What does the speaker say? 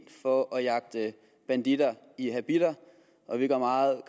for at jagte banditter i habitter og vi går meget